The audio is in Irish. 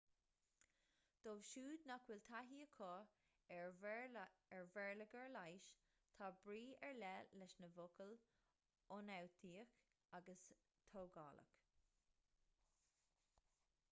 dóibh siúd nach bhfuil taithí acu ar bhéarlagair leighis tá brí ar leith leis na focail ionfhabhtaíoch agus tógálach